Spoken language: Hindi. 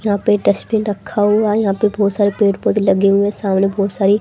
यहां पे डस्टबिन रखा हुआ है यहाँ पे बहुत से पेड़ पौधे रखे हुए हैं सामने बहुत सारी --